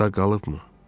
Sağ qalıbmı?